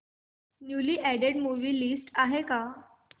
newly added movie list आहे का